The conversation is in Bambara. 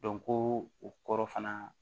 ko o kɔrɔ fana